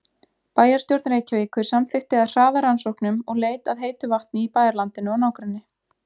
Bæjarstjórn Reykjavíkur samþykkti að hraða rannsóknum og leit að heitu vatni í bæjarlandinu og nágrenni.